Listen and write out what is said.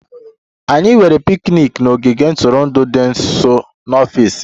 Anyị nwere picnic n'ogige ntụrụndụ dị nso n'ọfịs m